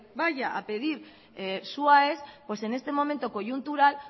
vaya a pedir su aes pues en este momento coyuntural